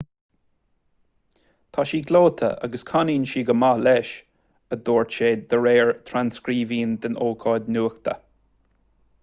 tá sí gleoite agus canann sí go maith leis a dúirt sé de réir thrascríbhinn den ócáid nuachta